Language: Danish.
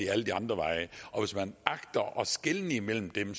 alle de andre veje og hvis man agter at skelne imellem dem